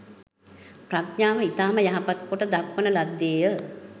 ප්‍රඥාව ඉතාම යහපත් කොට දක්වන ලද්දේය